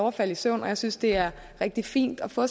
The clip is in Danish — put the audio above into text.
at falde i søvn og jeg synes det er rigtig fint at få